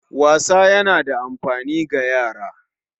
Wasa yana da amfani ga yara